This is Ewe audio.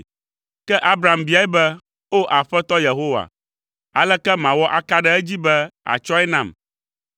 Ke Abram biae be, “O, Aƒetɔ Yehowa, aleke mawɔ aka ɖe edzi be àtsɔe nam?”